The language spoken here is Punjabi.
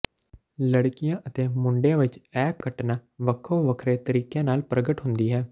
ਲੜਕੀਆਂ ਅਤੇ ਮੁੰਡਿਆਂ ਵਿਚ ਇਹ ਘਟਨਾ ਵੱਖੋ ਵੱਖਰੇ ਤਰੀਕਿਆਂ ਨਾਲ ਪ੍ਰਗਟ ਹੁੰਦੀ ਹੈ